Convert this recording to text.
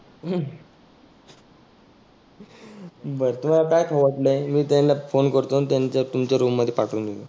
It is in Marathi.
बरं तुला काय खाऊ वाटलय? मी त्यांना फोन करतो आणि त्या‍ आणि तुमच्या रुम मध्ये पाठवुन देतो.